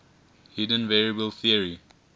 hidden variable theory